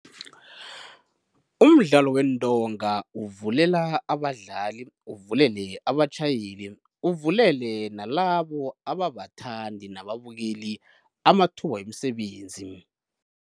Umdlalo weentonga uvulela abadlali, uvulele abatjhayeli, uvulele nalabo ababathandi nababukeli amathuba wemisebenzi.